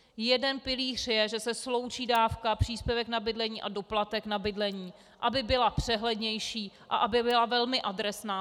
Jeden pilíř je, že se sloučí dávka, příspěvek na bydlení a doplatek na bydlení, aby byla přehlednější a aby byla velmi adresná.